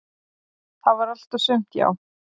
"""Það var allt og sumt, já."""